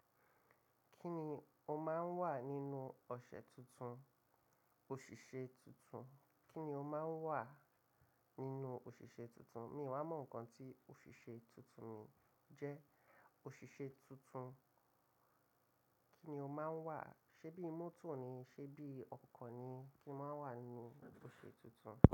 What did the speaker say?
Kí ni ó máa ń wà nínú ọṣẹ tuntun, òṣìṣẹ́ tuntun? Kí ni ó máa ń wà nínú òṣìṣẹ́ tuntun? Mi ò wa mo nǹkan tí òṣìṣẹ́ tuntun mi jẹ́. Òṣìṣẹ́ tuntun, kí ni ó máa ń wà? Ṣé bí mọ́tò ni? Ṣé bí ọkọ̀ ni? Kí n máa ń wà nínú ò tuntun?